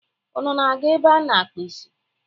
Unu na-aga ebe a na-akpa isi?